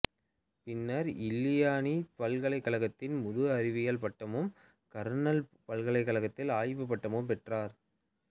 பின்னர் இல்லினாய்சு பல்கலைக்கழகத்தில் முதுஅறிவியல் பட்டமும் கார்னெல் பல்கலைக் கழகத்தில் ஆய்வுப்பட்டமும் பெற்றார்